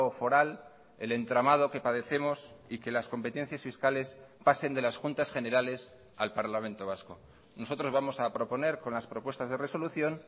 foral el entramado que padecemos y que las competencias fiscales pasen de las juntas generales al parlamento vasco nosotros vamos a proponer con las propuestas de resolución